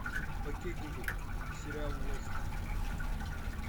окей гугл сериал лост